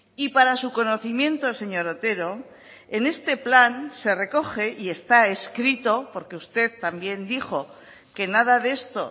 y para su conocimiento señor otero en este plan se recoge y está escrito porque usted también dijo que nada de esto